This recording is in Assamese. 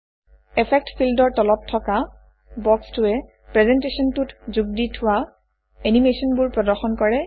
ইফেক্ট ফিল্ডৰ তলত থকা বক্সটোৱে প্ৰেজেণ্টেশ্যনটোত যোগ দি থোৱা এনিমেচনবোৰ প্ৰদৰ্শন কৰে